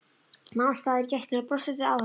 Nam staðar í gættinni og brosti til áhorfandans.